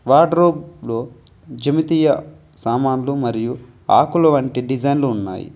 Wardrobe లో జిమితీయ సామాన్లు మరియు ఆకుల వంటి డిజైన్లు ఉన్నాయి.